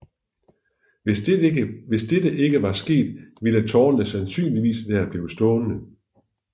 Hvis dette ikke var sket ville tårnene sandsynligvis være blevet stående